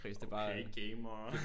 Okay gamer